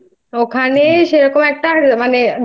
নিয়ে আসিসনি আমার জন্য